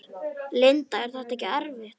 Linda: Er þetta ekkert erfitt?